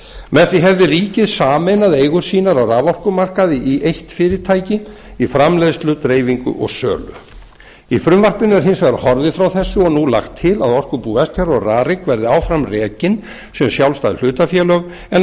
með því hefði ríkið sameinað eigur sínar á raforkumarkaði í eitt fyrirtæki í framleiðslu dreifingu og sölu í frumvarpinu er hins vegar horfið frá þessu og nú lagt til að orkubú vestfjarða og rarik verði áfram rekin sem sjálfstæð hlutafélög en